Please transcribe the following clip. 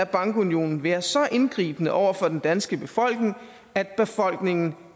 bankunionen være så indgribende over for den danske befolkning at befolkningen